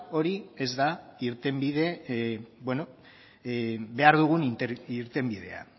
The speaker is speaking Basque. hori ez da irtenbide behar dugun irtenbidea